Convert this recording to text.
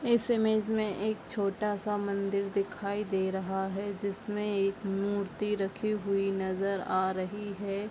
इस इमेज में एक छोटा-सा मंदिर दिखाई दे रहा है जिसमे एक मूर्ति रखी हुई नजर आ रही है।